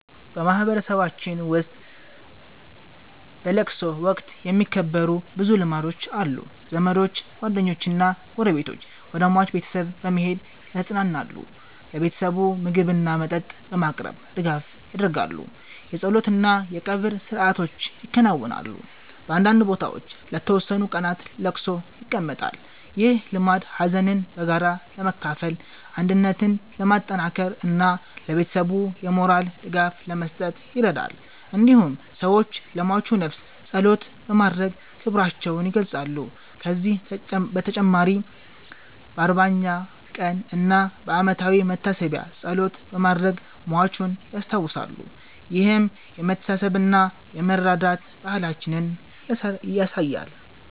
በማህበረሰባችን ውስጥ በለቅሶ ወቅት የሚከበሩ ብዙ ልማዶች አሉ። ዘመዶች፣ ጓደኞችና ጎረቤቶች ወደ ሟች ቤተሰብ በመሄድ ያጽናናሉ። ለቤተሰቡ ምግብና መጠጥ በማቅረብ ድጋፍ ያደርጋሉ። የጸሎት እና የቀብር ሥርዓቶች ይከናወናሉ። በአንዳንድ ቦታዎች ለተወሰኑ ቀናት ለቅሶ ይቀመጣል። ይህ ልማድ ሀዘንን በጋራ ለመካፈል፣ አንድነትን ለማጠናከር እና ለቤተሰቡ የሞራል ድጋፍ ለመስጠት ይረዳል። እንዲሁም ሰዎች ለሟቹ ነፍስ ጸሎት በማድረግ ክብራቸውን ይገልጻሉ። ከዚህ በተጨማሪ በ40ኛ ቀን እና በዓመታዊ መታሰቢያ ጸሎት በማድረግ ሟቹን ያስታውሳሉ። ይህም የመተሳሰብና የመረዳዳት ባህላችንን ያሳያል።